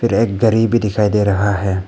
फिर एक गरी भी दिखाई दे रहा है।